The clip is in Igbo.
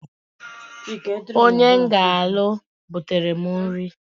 Onye m ga-alụ butere m nri.